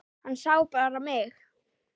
Hann sá bara mig!